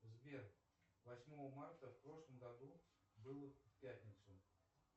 сбер восьмого марта в прошлом году было в пятницу